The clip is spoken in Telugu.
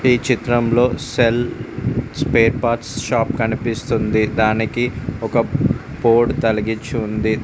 ఈ చిత్రంలో సెల్ స్పేర్ పార్ట్స్ షాప్ కనిపిస్తుంది దానికి ఒక బోర్డు తలిగించి ఉంది.